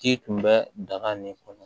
K'i tun bɛ daga nin kɔnɔ